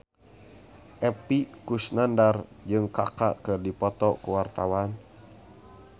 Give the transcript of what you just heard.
Epy Kusnandar jeung Kaka keur dipoto ku wartawan